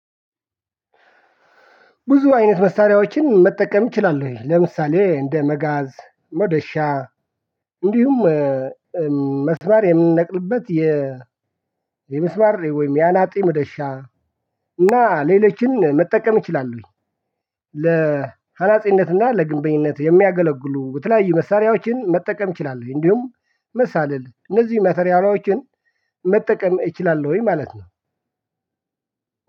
ብዙ አይነት መሳሪያዎችን መጠቀም እችላለሁኝ ለምሳሌ እንደ መጋዝ መዶሻ እንዲሁም መስማር የምንነቅልበት የ የመስማር ወይም የአናጢ ምዶሻ እና ሌላችን መጠቀም እችላለሁኝ። ለአናፂነትና ለግንበኝነት የሚያገለግሉ የተለያዩ መሳራያዋችን መጠቀም እችላለሁኝ። እንዲሁም መሳልል እነዚህ ማተርያሪያሎችን መጠቀም እችላለሁኝ ማለት ነው።